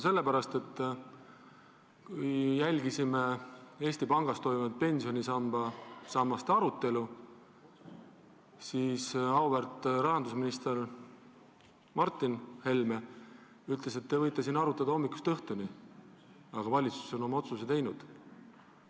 Seepärast, et kui me jälgisime Eesti Pangas toimunud pensionisammaste arutelu, siis auväärt rahandusminister Martin Helme ütles, et te võite siin arutada hommikust õhtuni, aga valitsus on oma otsuse teinud.